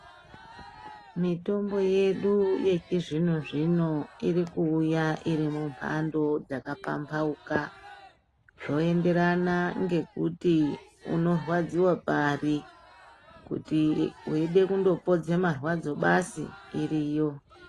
Mitombo yedu yechizvino zvino irikuuya iri mumhando dzakapambauka zvoenderana ngekuti unorwadziwe pari kuti weide kundopodze marwadzo basi iriyo.